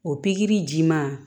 O pikiri ji ma